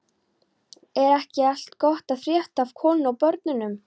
Er ekki allt gott að frétta af konunni og börnunum?